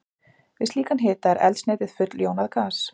við slíkan hita er eldsneytið full jónað gas